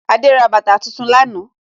Adé ra bàtà tuntun lánàá